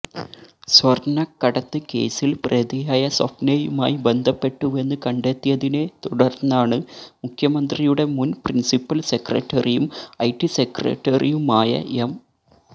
സ്വര്ണ്ണക്കടത്ത് കേസില് പ്രതിയായ സ്വപ്നയുമായി ബന്ധപ്പെട്ടുവെന്ന് കണ്ടെത്തിയതിനെ തുടര്ന്നാണ് മുഖ്യമന്ത്രിയുടെ മുന് പ്രിന്സിപ്പല് സെക്രട്ടറിയും ഐടി സെക്രട്ടറിയുമായ എം